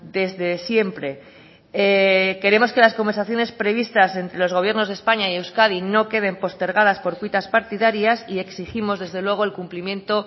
desde siempre queremos que las conversaciones previstas entre los gobiernos de españa y euskadi no queden postergadas por cuitas partidarias y exigimos desde luego el cumplimiento